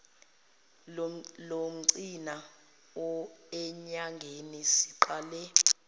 logcina enyangeni siqale